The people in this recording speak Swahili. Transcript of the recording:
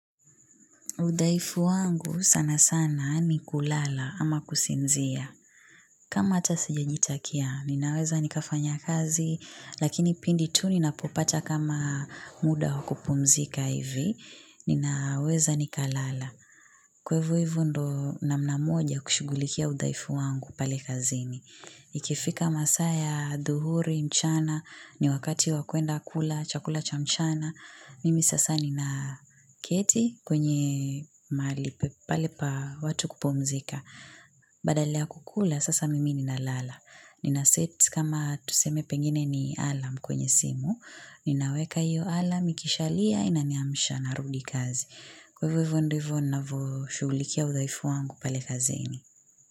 Udhaifu wangu sana sana ni kulala ama kusinzia. Kama hata sijajitakia ninaweza nikafanya kazi lakini pindi tu ninapopata kama muda wa kupumzika hivi ninaweza nikalala kwa hivo hivo ndo na mnamoja kushughulikia udhaifu wangu pale kazini. Ikifika masaa ya adhuhuri mchana, ni wakati wa kwenda kula, chakula cha mchana. Mimi sasa ni na keti kwenye malipe pale pa watu kupumzika. Badala ya kukula sasa mimi ni na lala. Nina set kama tuseme pengine ni alarm kwenye simu. Ninaweka hiyo alarm, ikishalia, inaniamsha, narudi kazi. Kwa hivo ndivo navo shughulikia udaifu wangu pale kazini.